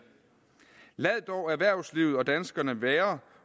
lad dog erhvervslivet og danskerne være